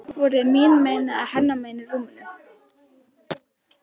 Voruð þið mín megin eða hennar megin í rúminu?